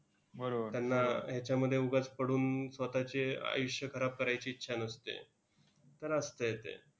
त्यांना ह्याच्यामध्ये उगाच पडून स्वतःचे आयुष्य खराब करायची इच्छा नसते. खरं असतंय ते.